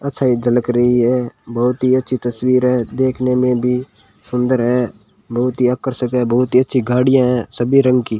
अच्छाई झलक रही है बहुत ही अच्छी तस्वीर है देखने में भी सुंदर है बहुत ही आकर्षक है बहुत ही अच्छी गाड़ियां हैं सभी रंग की।